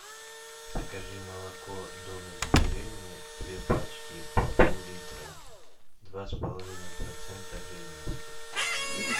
закажи молоко домик в деревне две пачки по поллитра два с половиной процента жирности